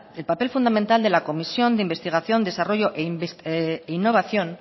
el papel fundamental de la comisión de investigación desarrollo e innovación